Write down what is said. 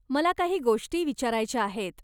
मला काही गोष्टी विचारायच्या आहेत.